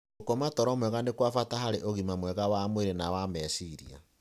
Gũkoma toro mwega nĩ kwa bata harĩ ũgima mwega wa mwĩrĩ na wa meciria.